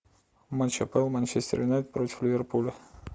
матч апл манчестер юнайтед против ливерпуля